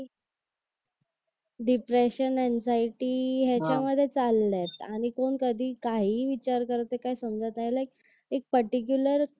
depression anxiety याच्यामध्ये चालले आणि कोण कधी काय काहीही विचार करते काय समजायला एक पर्टीकुलर